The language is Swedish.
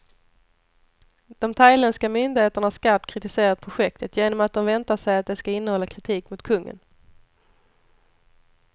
De thailändska myndigheterna har skarpt kritiserat projektet, genom att de väntar sig att det ska innehålla kritik mot kungen.